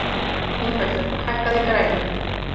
Ingveldur, hækkaðu í græjunum.